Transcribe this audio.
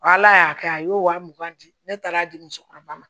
Ala y'a kɛ a y'o wa mugan di ne taara di musokɔrɔba ma